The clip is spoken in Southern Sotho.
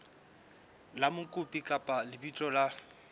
la mokopi kapa lebitso la